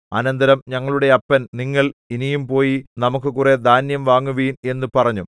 അനന്തരം ഞങ്ങളുടെ അപ്പൻ നിങ്ങൾ ഇനിയും പോയി നമുക്കു കുറെ ധാന്യം വാങ്ങുവിൻ എന്നു പറഞ്ഞു